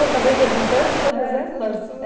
acabei perguntando todas elas? É tudo tudo